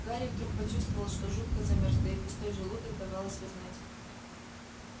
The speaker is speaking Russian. гарри вдруг почувствовал что жутко замёрз да и пустой желудок давал о себе знать